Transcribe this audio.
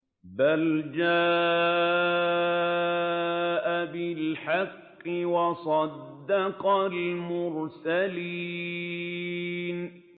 بَلْ جَاءَ بِالْحَقِّ وَصَدَّقَ الْمُرْسَلِينَ